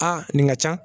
Aa nin ka can